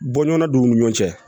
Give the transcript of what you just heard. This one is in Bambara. Bɔɲɔgɔnna don u ni ɲɔgɔn cɛ